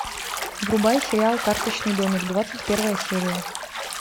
врубай сериал карточный домик двадцать первая серия